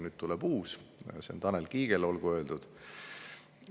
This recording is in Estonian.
Nüüd tuleb uus, Tanel Kiigele olgu öeldud.